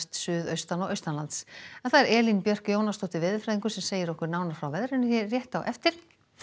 suðaustan og Elín Björk Jónasdóttir veðurfræðingur segir okkur nánar frá veðrinu á eftir